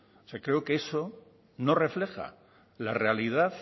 o sea creo que eso no refleja la realidad